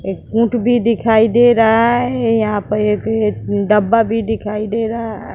एक बुक भी दिखाई दे रहा है यहां पर एक एक डब्बा भी दिखाई दे रहा है।